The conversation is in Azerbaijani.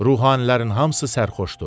Ruhanilərin hamısı sərxoşdur.